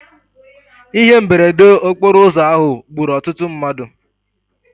Ihe mberede okporo ụzọ ahụ gburu ọtụtụ mmadụ.